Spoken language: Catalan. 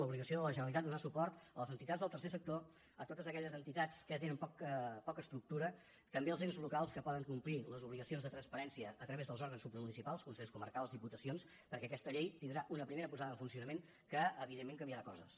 l’obligació de la generalitat de donar suport a les entitats del tercer sector a totes aquelles entitats que tenen poca estructura també als ens locals que poden complir les obligacions de transparència a través dels òrgans supramunicipals consells comarcals diputacions perquè aquesta llei tindrà una primera posada en funcionament que evidentment canviarà coses